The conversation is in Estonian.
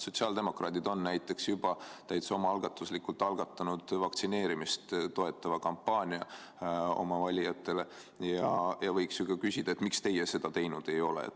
Sotsiaaldemokraadid on näiteks juba täitsa omaalgatuslikult algatanud vaktsineerimist toetava kampaania oma valijatele ja võiks ju ka küsida, et miks teie seda teinud ei ole.